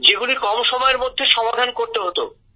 যেগুলি কম সময়ের মধ্যে সমাধান করতে হত